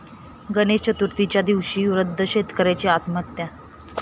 गणेश चतुर्थीच्या दिवशी वृद्ध शेतकऱ्याची आत्महत्या